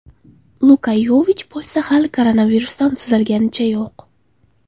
Luka Yovich bo‘lsa hali koronavirusdan tuzalganicha yo‘q.